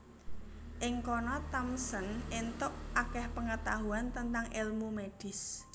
Ing kono Thompson entuk akeh pengetahuan tentang elmu medis